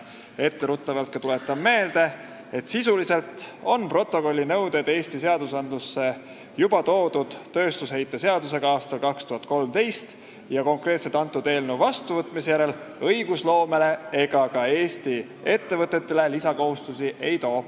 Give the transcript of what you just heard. Etteruttavalt tuletan ka meelde, et sisuliselt on protokolli nõuded Eesti seadusandlusse tööstusheite seadusega üle võetud juba aastal 2013 ja konkreetselt selle eelnõu vastuvõtmine õigusloomes ega ka Eesti ettevõtetele lisakohustusi ei too.